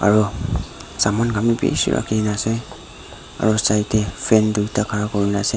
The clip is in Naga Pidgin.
aro saman khan bi bishi rakhikae na ase aro side tae fan tui ta khara kurinaaze.